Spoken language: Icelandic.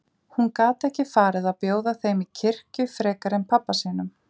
Hún gat ekki farið að bjóða þeim í kirkju frekar en pabba sínum.